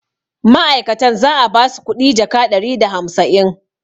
ma'aikatan za a ba su kuɗi jaka ɗari da hamsain